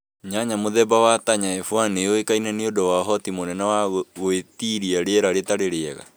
Nyanya mũthemba wa Tanya F1 nĩ yuĩkaine niũndu wa ũhoti mũnene wa gũĩtiria rĩera rĩtarĩ rĩega.